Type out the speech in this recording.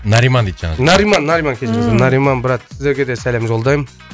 нариман дейді жаңағы нариман нариман кешіріңіз ыыы нариман брат сіздерге де сәлем жолдаймын